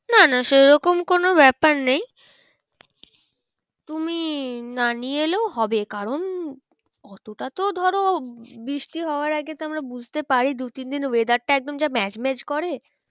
না না সেরকম কোনো ব্যাপার নেই তুমি না নিয়ে এলেও হবে কারণ অতটা তো ধরো বৃষ্টি হওয়ার আগে তো আমরা বুঝতে পারি দু তিনদিন weather টা একদম যা ম্যাজ ম্যাজ করে